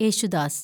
Yesudas